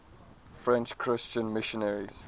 french christian missionaries